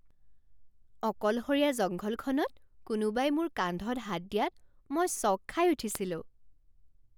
অকলশৰীয়া জংঘলখনত কোনোবাই মোৰ কান্ধত হাত দিয়াত মই চঁক খাই উঠিছিলোঁ।